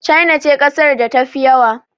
China ce ƙasar da ta fi yawa